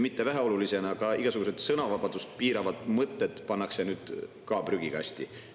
Väheoluline ei ole, et ka igasugused sõnavabadust piiravad mõtted pannakse nüüd prügikasti.